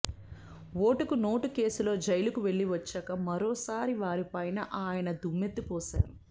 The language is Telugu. ఓటుకు నోటు కేసులో జైలుకు వెళ్లి వచ్చాక మరోసారి వారి పైన ఆయన దుమ్మెత్తి పోశారు